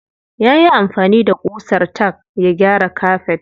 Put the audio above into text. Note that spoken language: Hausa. Yayi amfani da ƙusar tack ya gyara kafet.